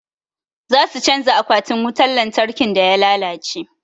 Za su canja akwatin wutan lantarkin da ya lalace.